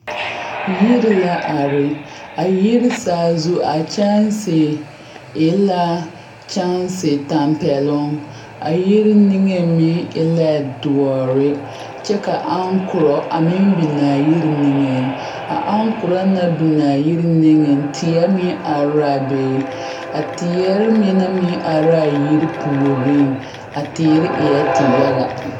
Yiri la are a yiri saazu a kyɛnsi e la kyɛnsi tampɛloŋ a yiri niŋe meŋ e la doɔre kyɛ ka a aŋkorɔ a biŋ a yiri niŋeŋ a aŋkorɔ naŋ biŋ a yiri niŋeŋ teɛ meŋ are la a be teere mine meŋ yɛ are la a yiri poɔ puoriŋ a teere eɛ tiyaga.